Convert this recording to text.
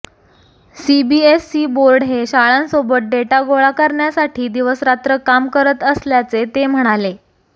CBSE board हे शाळांसोबत data गोळा करण्यासाठी दिवसरात्र काम करत असल्याचे ते म्हणाले